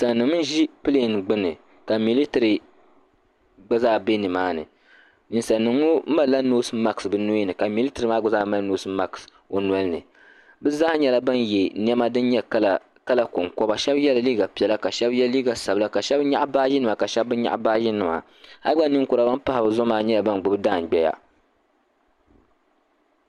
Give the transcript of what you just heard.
ʒi pilɛɛn gbuni ka militiri bɛ ni maa ni Tiŋ nima n ʒi pilɛɛn gbuni ka militiri gba zaa bɛ ni maa ni ninsali nima ŋɔ mali la noosi maks bi noya ni ka militiri maa gba mali noosi maks o noli ni bi zaa nyɛla bin yɛ niɛma din nyɛ kala kɔnkɔba bi shɛba liiga piɛla ka shɛba yɛ liiga sabila ka shɛba nyaɣi baaji nima ka shɛba bi nyaɣi baaji nima hali gba ninkura ban pahi bi zuɣu maa nyɛla bin gbubi daandɔya.